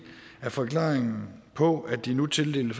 af forklaringen på at de nu tildeler